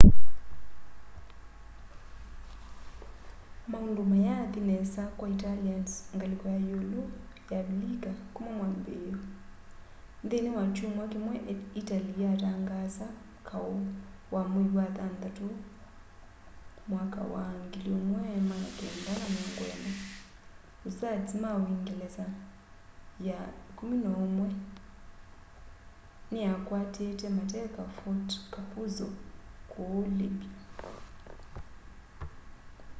maundu mayaathi nesa kwa italians ngaliko ya iulu ya avilika kuma mwambiio nthini wa kyumwa kimwe itali yatangaasa kau wa mwei wa thanthatu 1940 hussards ma uungelesa ya 11 niyakwatite mateka fort capuzzo kuu libya